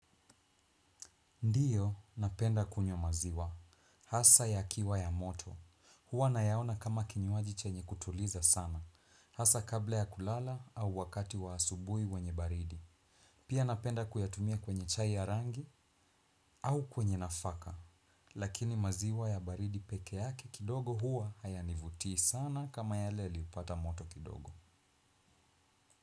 Ndiyo, napenda kunywa maziwa. Hasa ya kiwa ya moto. Huwa nayaona kama kinywaji chenye kutuliza sana. Hasa kabla ya kulala au wakati wa asubui wenye baridi. Pia napenda kuyatumia kwenye chai ya rangi au kwenye nafaka. Lakini maziwa ya baridi peke yake kidogo huwa hayanivutii sana kama yale yaliyopata moto kidogo.